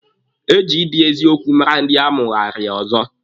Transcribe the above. Eji ịdị eziokwu mara ndị amụarịrị ọzọ.